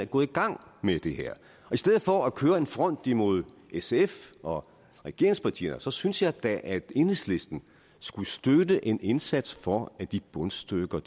gået i gang med det her i stedet for at køre en front imod sf og regeringspartierne synes jeg da at enhedslisten skulle støtte en indsats for at de bundstykker